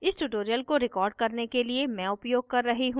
इस tutorial को record करने के लिए मैं उपयोग कर रही हूँ